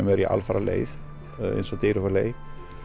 eru í alfaraleið eins og Dyrhólaey